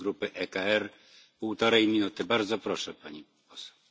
Momenteel moet slechts in uitzonderlijke gevallen informatie worden gedeeld.